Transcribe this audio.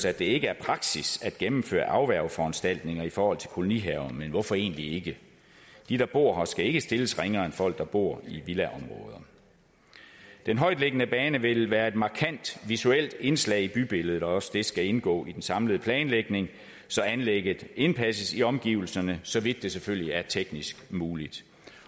at det ikke er praksis at gennemføre afværgeforanstaltninger i forhold til kolonihaver men hvorfor egentlig ikke de der bor skal ikke stilles ringere end folk der bor i villaområder den højtliggende bane vil være et markant visuelt indslag i bybilledet også det skal indgå i den samlede planlægning så anlægget indpasses i omgivelserne så vidt det selvfølgelig er teknisk muligt